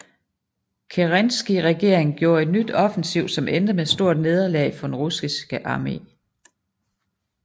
Kerenski regeringen gjorde et nyt offensiv som endte med stort nederlag for den russiske arme